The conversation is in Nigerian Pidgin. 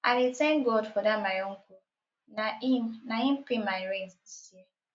i dey thank god for dat my uncle na im na im pay my rent dis year